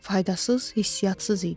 Faydasız, hissiyatsız idi.